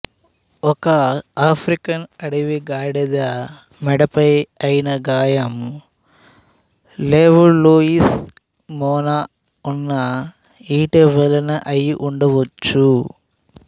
ఓ African అడవి గాడిద మెడపై అయిన గాయం లెవల్లోయిస్ మొన ఉన్న ఈటె వలన అయి ఉండవచ్చు